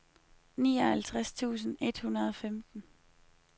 nioghalvtreds tusind et hundrede og femten